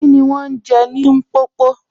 Kíni wọn n je M̀popo?